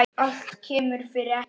Allt kemur fyrir ekki.